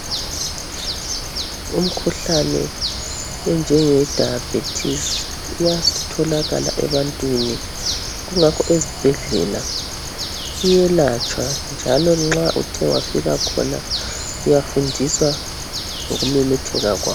Umkhuhlane enjenge dayabhethisi iyatholakala ebantwini kungakho ezibhedlela iyelatshwa njalo nxa uthe wafika khona uyafundiswa ngokumemetheka kwawo.